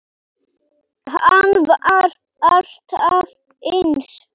Hann var alltaf eins.